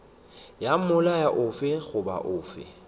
ya molao ofe goba ofe